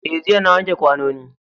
Eh jiya nayi wanke kwanoni